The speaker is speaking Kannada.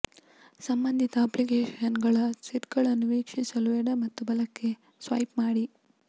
ಸಂಬಂಧಿತ ಅಪ್ಲಿಕೇಶನ್ಗಳ ಸೆಟ್ಗಳನ್ನು ವೀಕ್ಷಿಸಲು ಎಡ ಮತ್ತು ಬಲಕ್ಕೆ ಸ್ವೈಪ್ ಮಾಡಿ